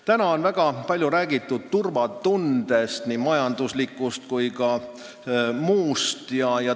Täna on väga palju räägitud nii majanduslikust kui ka muust turvatundest.